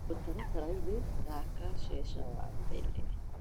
mũtaratara-inĩ thaka checa wa mbere